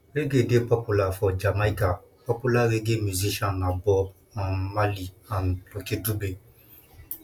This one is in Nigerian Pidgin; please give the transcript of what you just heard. reggae dey popular for jamaica popular reggae musician na bob um marley and lucky dube